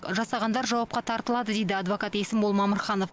жасағандар жауапқа тартылады дейді адвокат есімбол мамырханов